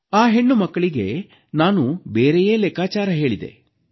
ಆ ಹೆಣ್ಣುಮಕ್ಕಳಿಗೆ ನಾನು ಬೇರೆಯೇ ಲೆಕ್ಕಾಚಾರ ಹೇಳಿದೆ